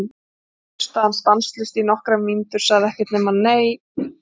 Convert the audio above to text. Svo hlustaði hann stanslaust í nokkrar mínútur, sagði ekkert nema: Nei!